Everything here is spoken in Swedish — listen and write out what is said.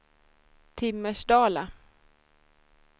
Timmersdala